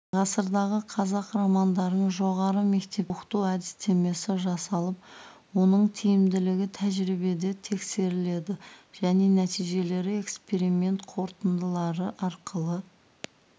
ғасырдағы қазақ романдарын жоғары мектепте оқыту әдістемесі жасалып оның тиімділігі тәжірибеде тексерілді және нәтижелері эксперимент қорытындылары арқылы